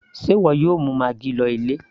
sé ìwọ yóò mú maggi lọ ilé